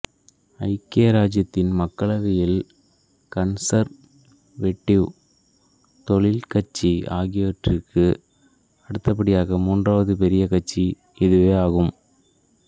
ஐக்கிய இராச்சியத்தின் மக்களவையில் கன்சர்வேட்டிவ் தொழிற் கட்சி ஆகியவற்றுக்கு அடுத்தபடியாக மூன்றாவது பெரிய கட்சி இதுவாகும்